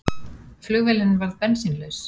Flugvélin varð bensínlaus